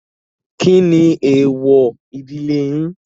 Kí ni èèwọ̀ ìdílé yín?